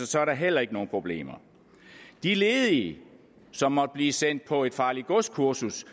så er der heller ikke nogen problemer de ledige som måtte blive sendt på et farligt gods kursus